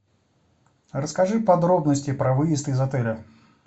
расскажи подробности про выезд из отеля